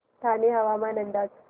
ठाणे हवामान अंदाज